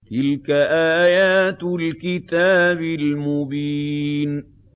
تِلْكَ آيَاتُ الْكِتَابِ الْمُبِينِ